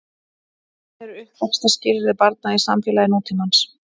Hvernig eru uppvaxtarskilyrði barna í samfélagi nútímans?